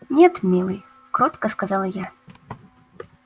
нет милый кротко сказала я